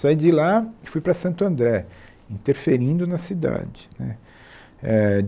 Saí de lá e fui para Santo André, interferindo na cidade né eh.